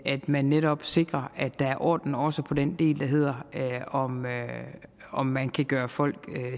man netop sikrer at der er orden også på den del der hedder om man om man kan gøre folk